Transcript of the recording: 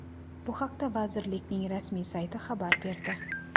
Bu haqda vazirlikning rasmiy sayti xabar berdi .